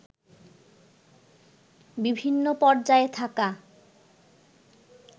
বিভিন্ন পর্যায়ে থাকা